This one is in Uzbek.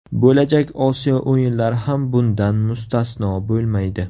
Bo‘lajak Osiyo o‘yinlari ham bundan mustasno bo‘lmaydi.